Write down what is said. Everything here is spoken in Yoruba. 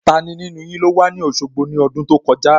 Tani nínú yin ló wà ní Òṣogbo ní ọdún tó kọjá?